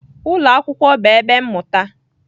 Ụlọ akwụkwọ bụ ebe mmụta